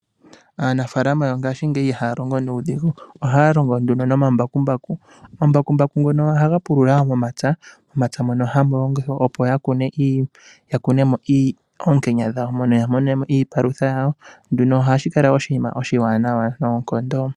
Aanafaalama yongaashingeyi iha ya longo we nuudhigu, ohaya longo nduno nomambakumbaku. Omambakumbaku ngono ohaga pulula wo momapya mono hamu longwa opo ya kunemo oonkenya dhawo, mono ya mone mo iipalutha yawo. Nduno ohashi kala oshinima oshiwanawa noonkondo.